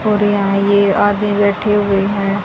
और यहां ये आदमी बैठे हुए हैं।